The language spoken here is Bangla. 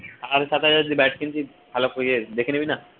সাড়ে সাত হাজারের bat কিনছিস ভালো করে ইয়ে দেখে নিবি না